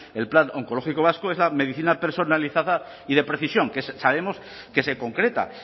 el plan oncológico vasco es la medicina personalizada y de precisión que sabemos que se concreta